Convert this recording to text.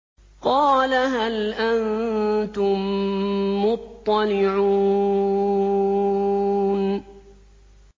قَالَ هَلْ أَنتُم مُّطَّلِعُونَ